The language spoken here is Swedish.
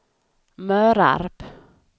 Mörarp